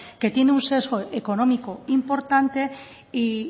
que tiene un sesgo económico importante y